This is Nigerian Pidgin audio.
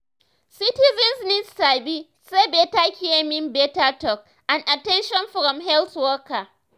citizens need sabi say better care mean better talk and at ten tion from health worker.